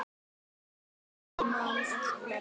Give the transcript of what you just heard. En ég man öll nöfn.